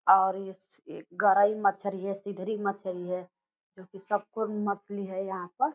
और इसमें गरइ मछली है सिधरी मछली है जो की संपूर्ण मछली है यहाँ पर।